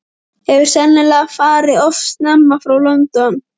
Hefur sennilega farið of snemma frá London.